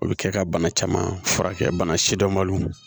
O bɛ kɛ ka bana caman furakɛ bana sidɔnbaliw